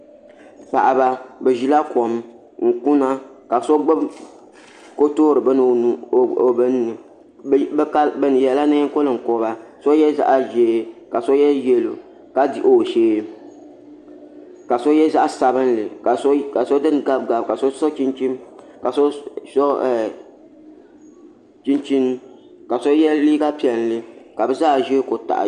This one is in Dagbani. Paɣiba bi zila kom n kuna ka so gbubi ko yoori bini o nuuni bi yiɛla nɛɛn konkoba so yiɛ zaɣi zɛɛ ka so yiɛ yɛlo ka dihi o shɛɛ ka so yiɛ zaɣi sabinli ka so dini gabigabi ka so chinchini ka so yiɛ liiga piɛlli ka bi zaa ziya ku taɣi.